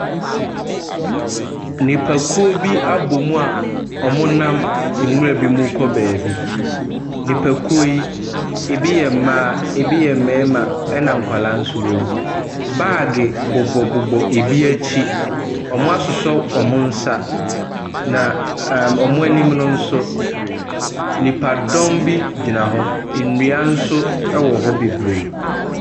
Nnipakuo bi abɔm a wɔnam nwura bi mu ɛrekɔ beebi. Nnipakuo yi, ɛbi yɛ mmaa, ɛbi yɛ mmarima, ɛna nkwadaa nso wɔm. Baage bobɔbobɔ ɛbi akyi, wɔasosɔsosɔ wɔn nsa, na ɛɛ wɔn anim no nso, nnipadɔm bi gyina, nnua nso ɛwɔ hɔ bebree.